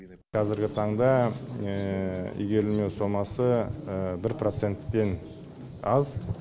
қазіргі таңда игерілмеу сомасы бір проценттен аз